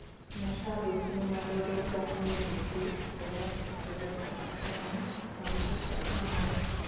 Mashambĩki nĩ marũrũnganire rĩngĩ njaa ya kĩharo kĩa Kasarani magĩtetia Kamau